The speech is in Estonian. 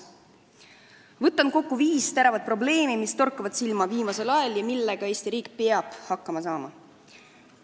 Võtan kokku viis teravat probleemi, mis torkavad viimasel ajal silma ja millega Eesti riik peab hakkama saama.